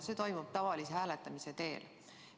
See toimub tavalise hääletamise teel.